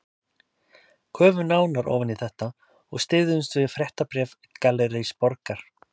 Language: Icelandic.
Köfum nánar ofan í þetta og styðjumst við fréttabréf Gallerís Borgar